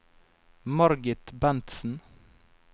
Margit Bentsen